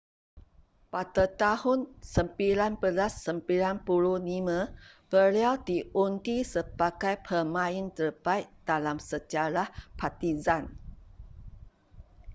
pada tahun 1995 beliau diundi sebagai pemain terbaik dalam sejarah partizan